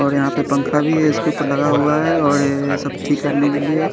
और यहां पे पंखा भी है इसके ऊपर लगा हुआ है और ये सब ठीक करने के लिए--